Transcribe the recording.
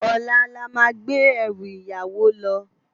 Òlá lá má gbé èrú iyàwó lò